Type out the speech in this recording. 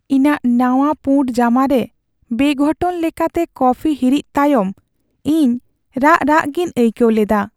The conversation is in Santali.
ᱤᱧᱟᱹᱜ ᱱᱟᱣᱟ ᱯᱩᱬ ᱡᱟᱢᱟ ᱨᱮ ᱵᱮᱼᱜᱷᱚᱴᱚᱱ ᱞᱮᱠᱟᱛᱮ ᱠᱚᱯᱷᱤ ᱦᱤᱨᱤᱡ ᱛᱟᱭᱚᱢ ᱤᱧ ᱨᱟᱜ ᱨᱟᱜ ᱜᱤᱧ ᱟᱹᱭᱠᱟᱹᱣ ᱞᱮᱫᱟ ᱾